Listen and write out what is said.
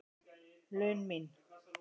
laun mín.